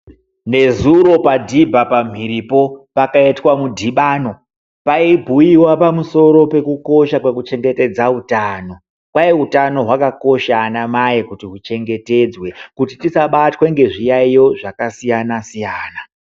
Nezuro padhibha pamhiripo, pakaitwa mudhibano. Paibhuiwa pamusoro pekukosha kwekuchengetedza utano. Kwai utano hwakakosha anamai kuti huchengetedzwe kuti tisabatwe ngezviyaiyo zvakasiyana-siyana.